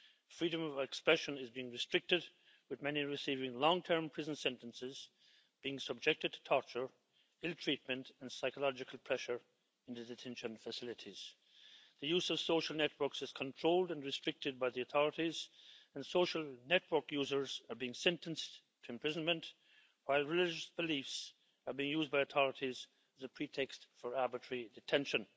Freedom of expression is being restricted, with many receiving long-term prison sentences and being subjected to torture, ill treatment and psychological pressure in the detention facilities. The use of social networks is controlled and restricted by the authorities and social network users are being sentenced to imprisonment, while religious beliefs are being used by authorities as a pretext for arbitrary detention.